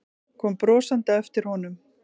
Kom brosandi á eftir honum.